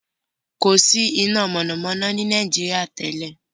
There was no electricity in Nigeria before.